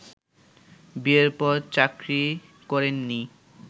বিয়ের পর চাকরি করেননি